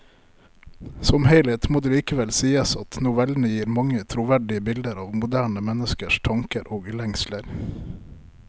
Som helhet må det likevel sies at novellene gir mange troverdige bilder av moderne menneskers tanker og lengsler.